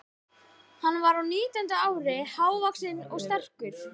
Hann var á nítjánda ári, hávaxinn og sterkur.